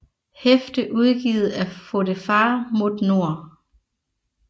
Hæfte udgivet af Fotefar mot nord